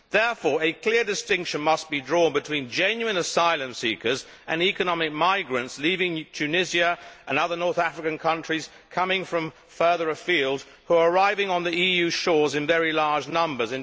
Therefore a clear distinction must be drawn between genuine asylum seekers and economic migrants leaving Tunisia and other North African countries, coming from further afield, who are arriving on the EU shores in very large numbers